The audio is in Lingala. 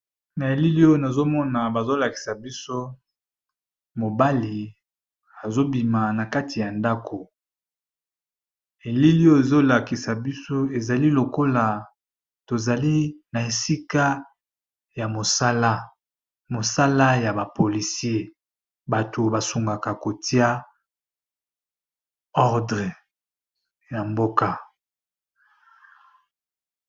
Na elili nazomona bazolakisa biso mobali azobima na kati ya ndako, elili oyo ezolakisa biso ezali lokola tozali na esika ya mosala. Mosala ya bapolisier bato basungaka kotia ordre ya mboka.